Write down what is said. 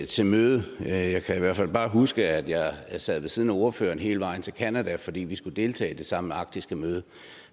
til mødet men jeg kan i hvert fald bare huske at jeg sad ved siden af ordføreren hele vejen til canada fordi vi skulle deltage i det samme arktiske møde